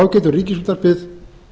þá getur ríkisútvarpið